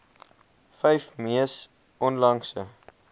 vyf mees onlangse